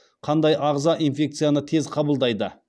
қандай ағза инфекцияны тез қабылдайды